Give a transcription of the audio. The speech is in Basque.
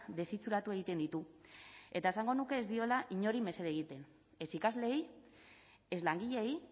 desitxuratu egiten ditu eta esango nuke ez diola inori mesede egiten ez ikasleei ez langileei